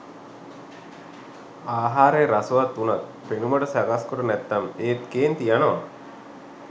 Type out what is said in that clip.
ආහාරය රසවත් වුණත් පෙනුමට සකස් කොට නැත්නම් ඒත් කේන්ති යනවා.